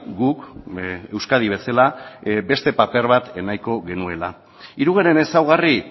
guk euskadi bezala beste paper bat nahiko genuela hirugarren ezaugarri